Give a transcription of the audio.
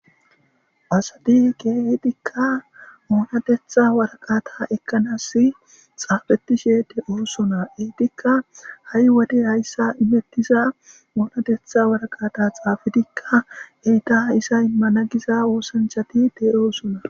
asati geetikka oonatetha waraqata ekkanas xaafetishe de oosona eetikka ha7i wode hayssa imettiza oonatetha waraqata xaafitikka heyta hisa immana giza oosanchati te oosona